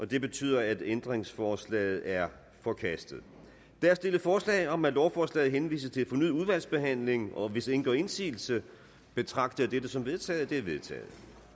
det betyder at ændringsforslaget er forkastet der er stillet forslag om at lovforslaget henvises til fornyet udvalgsbehandling og hvis ingen gør indsigelse betragter jeg dette som vedtaget det vedtaget